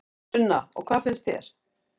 Sunna: Og hvað finnst þér?